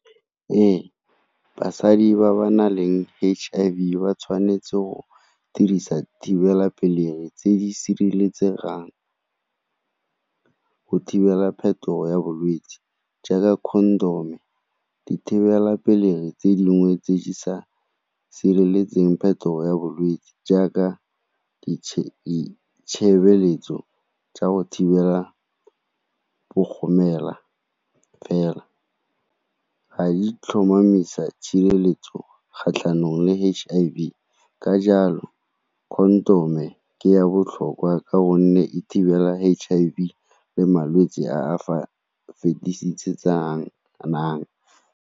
Ee, basadi ba ba nang le H_I_V ba tshwanetse go dirisa thibelapelegi tse di sireletsegang go thibela ya bolwetse jaaka condom-o. Dithibelapelegi tse dingwe tse di sa sireletseng phetogo ya bolwetse jaaka di tshebeletso tsa go thibela fela ga di tlhomamisa le kgatlhanong le H_I_V ka jalo condom-e ke ya botlhokwa ka gonne e thibela H_I_V le malwetse a a fetisetsanang.